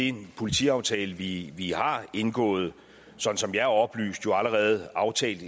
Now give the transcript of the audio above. i den politiaftale vi vi har indgået sådan som jeg er oplyst allerede aftalt